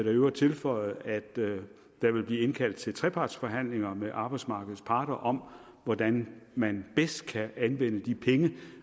i øvrigt tilføje at der vil blive indkaldt til trepartsforhandlinger med arbejdsmarkedets parter om hvordan man bedst kan anvende de penge